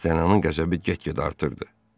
D'Artanyanın qəzəbi get-gedə artırdı.